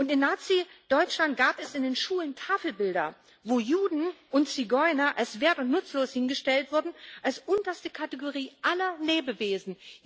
In Nazideutschland gab es in den Schulen Tafelbilder, wo Juden und Zigeuner als wert und nutzlos hingestellt wurden, als unterste Kategorie aller Lebewesen.